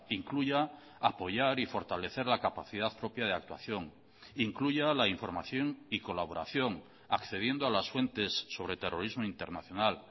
incluya apoyar y fortalecer la capacidad propia de actuación incluya la información y colaboración accediendo a las fuentes sobre terrorismo internacional